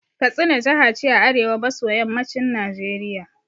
Katsina jaha ce a arewa maso yammacin Najeriya